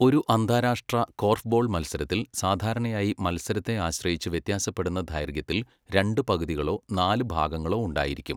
ഒരു അന്താരാഷ്ട്ര കോർഫ്ബോൾ മത്സരത്തിൽ സാധാരണയായി മത്സരത്തെ ആശ്രയിച്ച് വ്യത്യാസപ്പെടുന്ന ദൈർഘ്യത്തിൽ രണ്ട് പകുതികളോ നാല് ഭാഗങ്ങളോ ഉണ്ടായിരിക്കും,